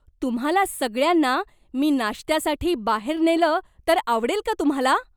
तुम्हाला सगळ्यांना मी नाश्त्यासाठी बाहेर नेलं तर आवडेल का तुम्हाला?